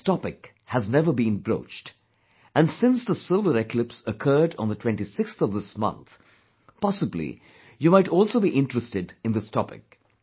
But this topic has never been broached, and since the solar eclipse occurred on the 26th of this month, possibly you might also be interested in this topic